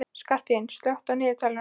Skarphéðinn, slökktu á niðurteljaranum.